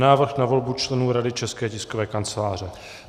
Návrh na volbu členů Rady České tiskové kanceláře